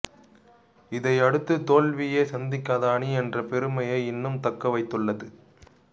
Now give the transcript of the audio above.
இதனையடுத்து தோல்வியே சந்திக்காத அணி என்ற பெருமையை இன்னும் தக்க வைத்துள்ளது